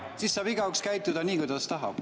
Siis saab igaüks käituda nii, kuidas tahab.